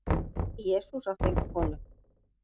Nei, Jesús átti enga konu.